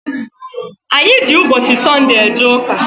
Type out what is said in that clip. Anyị ji ụbọchị Sọnde eje ụka.